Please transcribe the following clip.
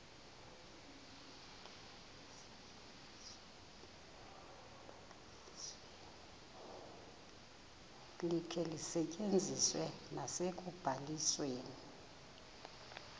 likhe lisetyenziswe nasekubalisweni